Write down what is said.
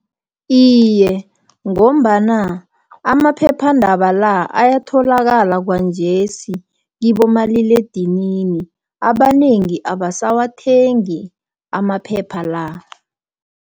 Iye, ngombana amaphephandaba la, ayatholakala kwanjesi, kibomaliledinini. Abanengi abasawathengi amaphepha la.